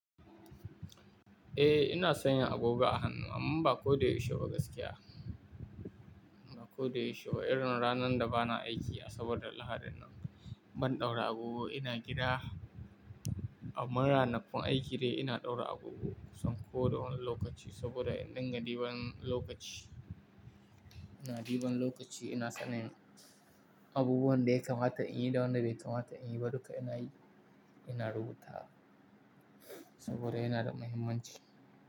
Eh, ina sanya agoga a hannu amma ba ko da yaushe ba gaskiya. Ba ko da yaushe ba irin ranar da ba na aiki a saboda lahadin ban ɗaura agogo ina gida. Amman ranakun aiki dai ina ɗaura agogo son ko don lokaci saboda indinga du ban lokaci. Ina ɗiban lokaci ina sanin abubuwan daya kamata in yi da wanda bai kamata in yi baduka ina yi, ina rubuta saboda yana da muhimmanci.